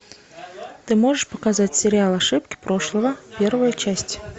ты можешь показать сериал ошибки прошлого первая часть